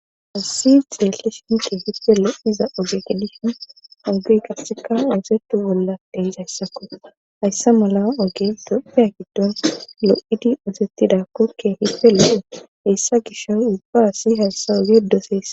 Hasi xeelli shinke hiffe lo7iza ogekedishin ogey qasseka uusetu bolla denjayssakko hayssa mala oge dophiya giddon lo7idi usettidakkokke hife lo7e heyssa gishoy ubba asi hayssa oge doosessa.